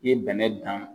I ye bɛnɛ dan